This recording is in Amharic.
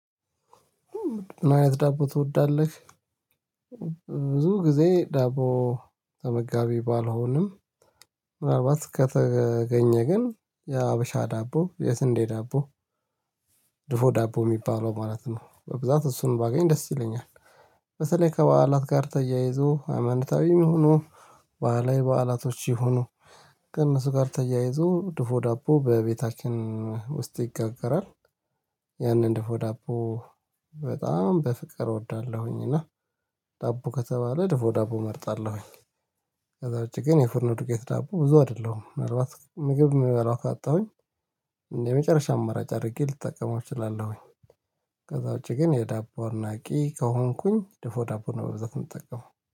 ምን አይነት ዳቦ ትወዳለህ? ብዙ ጊዜ ዳቦ ተመጋቢ ባልሆንም ምናልባት ከተገኘ ግን የሀበሻ ዳቦ የስንዴ ዳቦ። ድፎ ዳቦ የሚባለው ማለት ነው በብዛት እሱን ባገኝ ደስ ይለኛል። በተለይ ከበዓላት ጋር ተያይዞ ሃይማኖታዊም ይሁኑ በዓላዊ በዓላቶች ይሁኑ ከእነሱ ጋር ተያይዞ ድፎ ዳቦ በቤታችን ውስጥ ይጋገራል። ያንን ድፎ ዳቦ በጣም በፍቅር እወዳለሁኝ እና ዳቦ ከተባለ ድፎ ዳቦ እመርጣለሁኝ። ከዛ ውጪ ግን የፉርን ዱቄት ዳቦ ብዙ አይደለሁም ምናልባት ምግብ የምበላው ካጣሁኝ እንደ የመጨረሻ አማራጭ አድርጌ ልጠቀመው እችላለሁኝ። ከዛ ውጪ ግን የዳቦ አድናቂ ከሆንኩኝ ድፎ ዳቦ ነው በብዛት የምጠቀመው